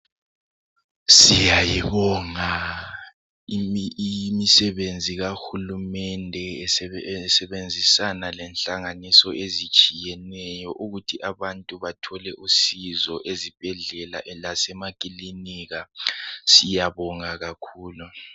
Siyayibonga imisebenzi kahulumende esebenzisana lehlanganiso ezitshiyeneyo ukuthi abantu bathole usizo ezibhedlela lasemakilika siyabonga kakhulu.